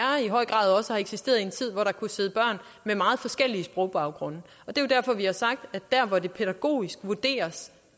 i høj grad også har eksisteret i en tid hvor der kunne sidde børn med meget forskellig sprogbaggrunde det er derfor vi har sagt at der hvor det pædagogisk vurderes